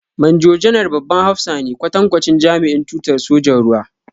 Manjo-janar babban hafsa ne, kwatankwacin jami'in tutar sojan ruwa.